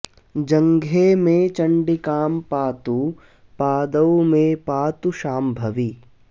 जङ्घे मे चण्डिकां पातु पादौ मे पातु शाम्भवी